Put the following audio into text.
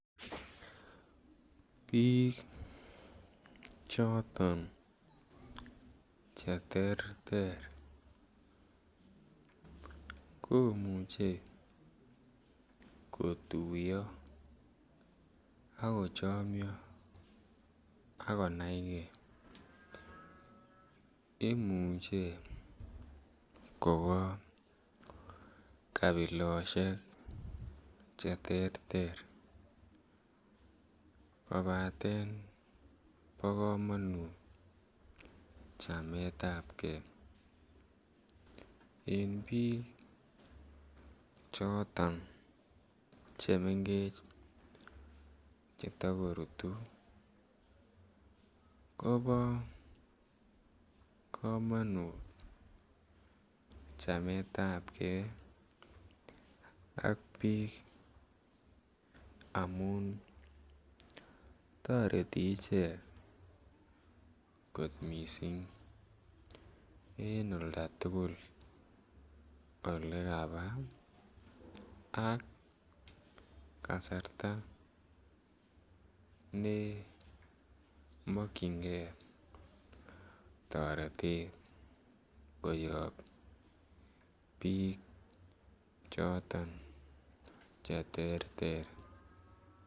Piik choton cheterter komuchi kotuyo akochomyo akonaigei imuche kopaa kabilosiek cheterter kopaten pa komanut chamet ab kei eng' piik choton chemengech chetigorutu kopa komanut chamet ab kei ak piik amun toreti ichek kot mising' en oldo tugul ole kapaa ak kasarta neimakchinigei toretet koyoyak piik choton cheterter.